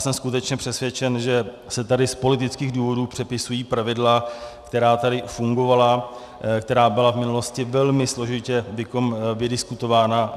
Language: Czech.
Jsem skutečně přesvědčen, že se tady z politických důvodů přepisují pravidla, která tady fungovala, která byla v minulosti velmi složitě vydiskutována.